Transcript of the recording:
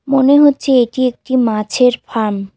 মনে হচ্ছে এটি একটি মাছের ফার্ম ।